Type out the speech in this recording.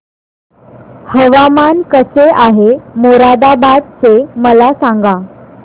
हवामान कसे आहे मोरादाबाद चे मला सांगा